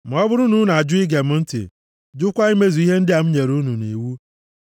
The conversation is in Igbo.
“ ‘Ma ọ bụrụ na unu ajụ ige m ntị, jụkwa imezu ihe ndị a m nyere unu iwu ya,